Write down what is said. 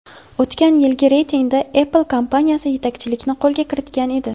O‘tgan yilgi reytingda Apple kompaniyasi yetakchilikni qo‘lga kiritgan edi.